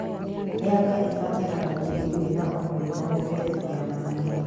Mĩanga ĩbataraga tĩĩri wĩna ũnoru na mĩberethi ya maĩ